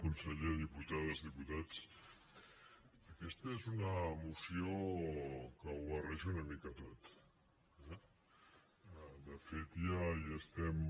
conseller diputades diputats aquesta és una moció que ho barreja una mica tot eh de fet ja hi estem